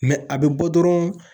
a bɛ bɔ dɔrɔn